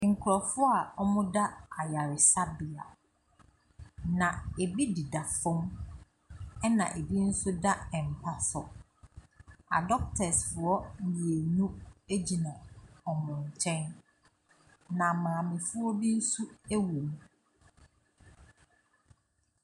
Nkurɔfoɔ a wɔda ayaresabea, na ebi deda fam, ɛnna ebi nso da mpa so. Adɔktɛsfoɔ mmienu gyina wɔn nkyɛn, na maamefoɔ bi nso wom.